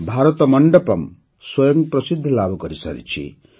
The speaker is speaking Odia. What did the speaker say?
ଭାରତ ମଣ୍ଡପମ୍ ସ୍ୱୟଂ ପ୍ରସିଦ୍ଧି ଲାଭ କରିସାରିଛି